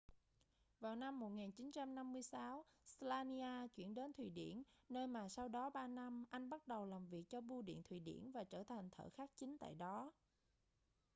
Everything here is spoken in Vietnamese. vào năm 1956 slania chuyển đến thụy điển nơi mà sau đó ba năm anh bắt đầu làm việc cho bưu điện thụy điển và trở thành thợ khắc chính tại đó